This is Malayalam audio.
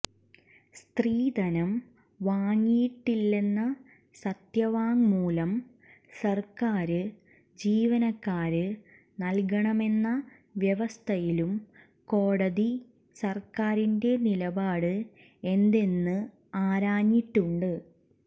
സ്ത്രീധനം വാങ്ങിയിട്ടില്ലെന്ന സത്യവാങ്മൂലം സര്ക്കാര് ജീവനക്കാര് നല്കണമെന്ന വ്യവസ്ഥയിലും കോടതി സര്ക്കാരിന്റെ നിലപാട് എന്തെന്ന് ആരാഞ്ഞിട്ടുണ്ട്